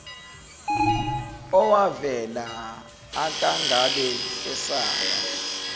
owavela akangabe esaba